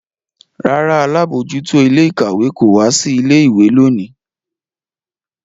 Rárá, alabojuto ile-ikawe ko wa si ile-iwe loni.